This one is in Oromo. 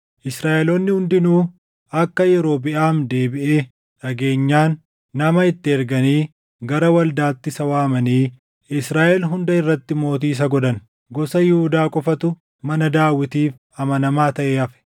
Israaʼeloonni hundinuu akka Yerobiʼaam deebiʼe dhageenyaan nama itti erganii gara waldaatti isa waamanii Israaʼel hunda irratti mootii isa godhan. Gosa Yihuudaa qofatu mana Daawitiif amanamaa taʼee hafe.